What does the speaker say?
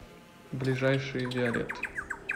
ближайший виолет